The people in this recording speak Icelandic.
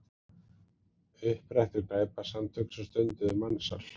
Upprættu glæpasamtök sem stunduðu mansal